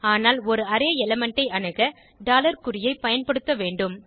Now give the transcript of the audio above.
ஆனால் ஒரு array element ஐ அணுக குறியை பயன்படுத்த வேண்டும்